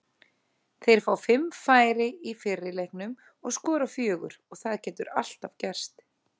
Þeir fá fimm færi í fyrri leiknum og skora fjögur og það getur alltaf gerst.